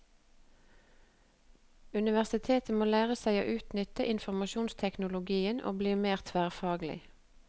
Universitetet må lære seg å utnytte informasjonsteknologien og bli mer tverrfaglig.